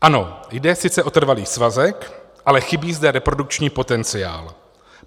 Ano, jde sice o trvalý svazek, ale chybí zde reprodukční potenciál.